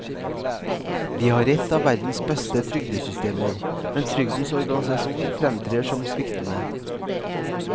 Vi har et av verdens beste trygdesystemer, men trygdens organisasjon fremtrer som sviktende.